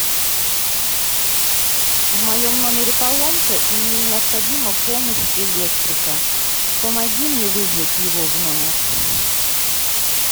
в моем номере поломка и мне необходима помощь электрика помоги мне вызвать его в номер